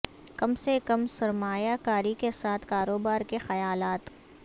کم سے کم سرمایہ کاری کے ساتھ کاروبار کے خیالات